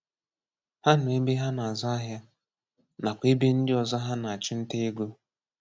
Hà nọ ebe hà na-azù áhịa, nakwá ebe ndị ọzọ hà na-achụ̀ nta égo.